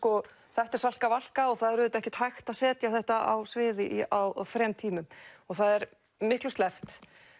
þetta er Salka Valka og það er ekki hægt að setja þetta á svið á þrem tímum og það er miklu sleppt